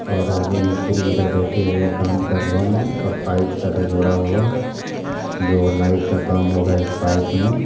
और आगे मिस्त्री उधर बैठे हुए हैं काम कर रहे हैं और पाइप सब है जोड़ा हुआ जो लाइट का काम होगा इस पाइप में।